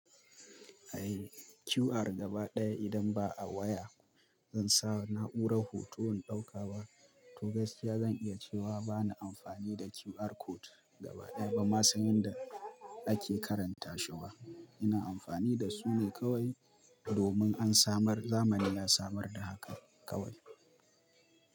Ai QR gaba ɗaya idan ba a waya, zan sa na'urar hoto in ɗauka ba. To gaskiya zan iya cewa ba na amfani da QR code gaba ɗaya bamma san yadda ake karanta shi ba. Ina amfani da su ne kawai domin an samar zamani ya samar da haka kawai.